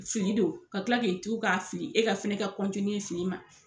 Fili don ka kila k'i tugu k'a fili e ka fɛnɛ ka kɔntiniye fili ma